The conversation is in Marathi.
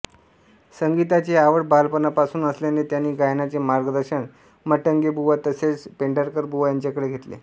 संगीताची आवड बालपणापासून असल्याने त्यांनी गायनाचे मार्गदर्शन मटंगेबुवा तसेच पेंढारकरबुवा यांच्याकडे घेतले